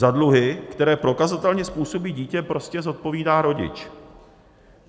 Za dluhy, které prokazatelně způsobí dítě, prostě zodpovídá rodič.